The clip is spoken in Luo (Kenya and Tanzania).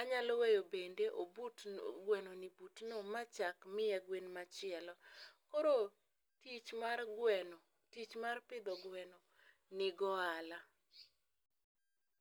anyalo weyo bende obutno, gwenoni butno ma chak miya gwen machielo. Koro tich mar gweno, tich mar pidho gweno nigi ohala.